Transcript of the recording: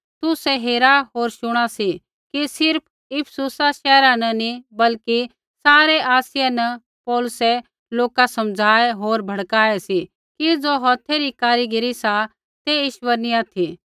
तुसै हेरा होर शुणा सी कि सिर्फ़ इफिसुसा शैहरा न नी बल्कि सारै आसिया न पौलुसै लोका समझाऐ होर भड़काऐ सी कि ज़ो हौथै री कारीगिरी सा ते ईश्वर नी ऑथि